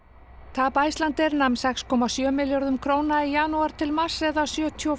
tap Icelandair nam sex komma sjö milljörðum króna í janúar til mars eða sjötíu og